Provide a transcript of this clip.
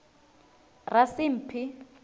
rasimphi